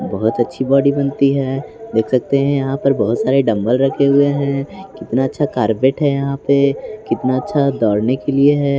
बहुत अच्छी बॉडी बनती है देख सकते हैं यहां पर बहुत सारे डंबल रखे हुए हैं कितना अच्छा कार्पेट है यहां पे कितना अच्छा दौड़ने के लिए है।